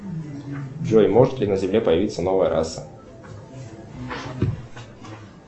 джой может ли на земле появиться новая раса